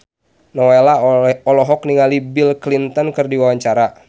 Nowela olohok ningali Bill Clinton keur diwawancara